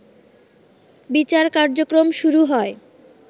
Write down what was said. বিচার কার্যক্রম শুরু হয়